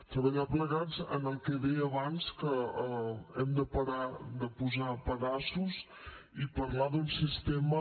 treballar plegats en el que deia abans que hem de parar de posar pedaços i parlar d’un sistema